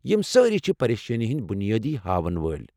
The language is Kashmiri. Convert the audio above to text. یِم سٲری چھِ پریشٲنی ہنٛدۍ بنیٲدی ہاون وٲلۍ ۔